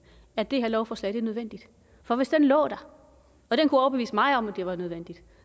at det her lovforslag er nødvendigt for hvis den lå der og den kunne overbevise mig om at det var nødvendigt